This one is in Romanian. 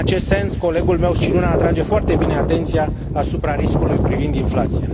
În acest sens, colegul meu Scicluna atrage foarte bine atenția asupra riscului privind inflația.